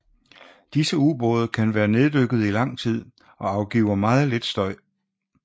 Disse ubåde kan være neddykkede i lang tid og afgiver meget lidt støj